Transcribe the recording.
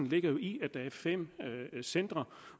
ligger i at der er fem centre